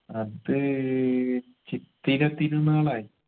അത് ചിത്തിര തിരുനാളായ്